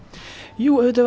jú auðvitað